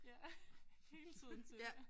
Ja hele tiden til